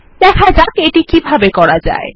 দেখা যাক এটি কিভাবে করা যায়